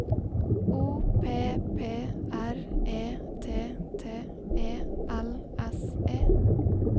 O P P R E T T E L S E